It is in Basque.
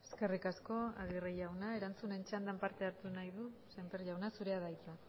eskerrik asko aguirre erantzunen txandan norbaitek parte hartu nahi du sémper jauna zurea da hitza